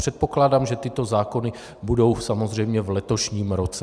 Předpokládám, že tyto zákony budou samozřejmě v letošním roce.